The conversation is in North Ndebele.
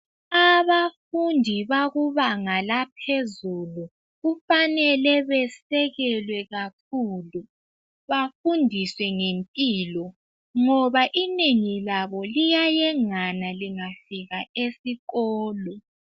Abafundi bakubanga laphezulu, kufanele besekelwe kakhulu, bafundiswe ngempilo ngoba inengi labo liyayengana lingafika esikolo.